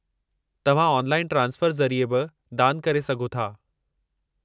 तव्हां online transfer ज़रिए बि दानु करे सघो था।